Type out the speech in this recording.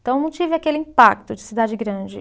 Então, eu não tive aquele impacto de cidade grande.